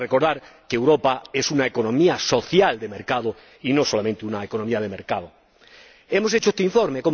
Para recordar que Europa es una economía social de mercado y no solamente una economía de mercado. ¿Cómo hemos hecho este informe?